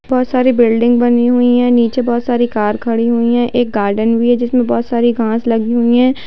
बोहोत सारी बिल्डिंग बनी हुई हैं नीचे बोहोत सारी कार खड़ी हुई हैं एक गार्डन भी है जिसमें बोहोत सारी घांस लगी हुई हैं।